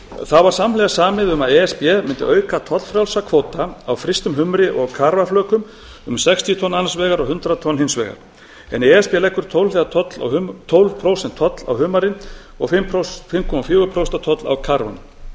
þá var samhliða samið um að e s b mundi auka tollfrjálsa kvóta á frystum humri og karfaflökum um sextíu tonn annars vegar og hundrað tonn hins vegar en e s b leggur tólf prósent toll á humarinn og fimm komma fjögur prósent toll á karfann miðað við